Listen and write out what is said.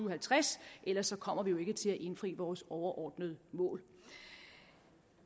og halvtreds ellers kommer vi ikke til at indfri vores overordnede mål